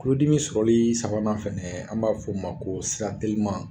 Kulodimi sɔrɔli sabanan fɛnɛ an b'a f'o ma ko sira teliman